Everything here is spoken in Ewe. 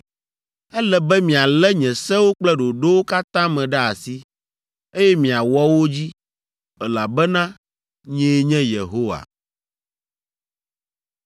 “ ‘Ele be mialé nye sewo kple ɖoɖowo katã me ɖe asi, eye miawɔ wo dzi, elabena nyee nye Yehowa!’ ”